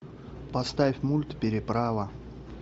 поставь мульт переправа